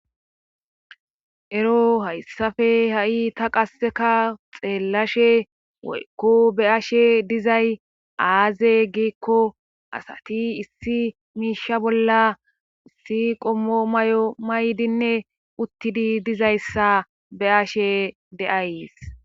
ero hayssafe ha7i ta qasseka xeellashe woykko be ashe dizay aaze giikko asati issi miisha bolla issi qommo may7o maydinne uttidi dizayssa be ashe deays